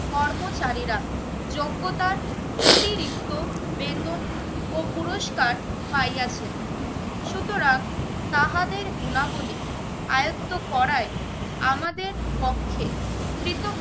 কর্মচারীরা যোগ্যতার অতিরিক্ত বেতন ও পুরস্কার পাইয়াছে সুতরাং তাহাদের গুণাবলী আয়ত্ত করায় আমাদের পক্ষে কৃত